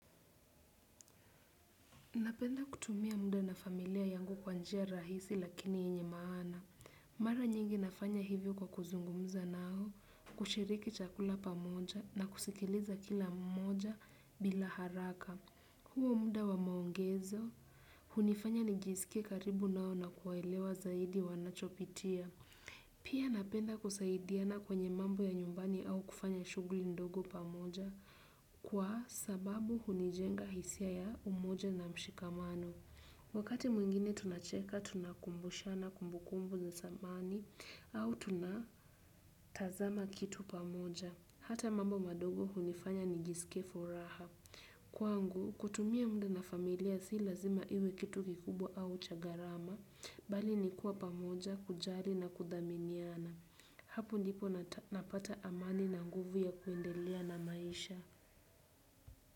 Napenda kutumia muda na familia yangu kwa njia rahisi lakini yenye maana. Mara nyingi nafanya hivyo kwa kuzungumza nao, kushiriki chakula pamoja na kusikiliza kila mmoja bila haraka. Huo muda wa maongezo, hunifanya nijisike karibu nao na kuwaelewa zaidi wanachopitia. Pia napenda kusaidiana kwenye mambo ya nyumbani au kufanya shughuli ndogo pamoja. Kwa sababu hunijenga hisia ya umoja na mshikamano. Wakati mwingine tunacheka, tunakumbushana kumbukumbu za samani au tunatazama kitu pamoja. Hata mambo madogo hunifanya nijisike furaha. Kwangu, kutumia muda na familia si lazima iwe kitu kikubwa au cha gharama bali nikua pamoja, kujali na kudhaminiana. Hapo ndipo napata amani na nguvu ya kuendelea na maisha.